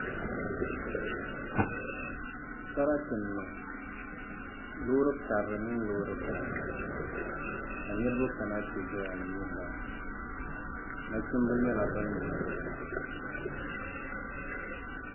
sarati n-niŋ loori karili mini loori bila ka niriba kana nti zaya yuuni li nachimba nyɛla ban yuundi li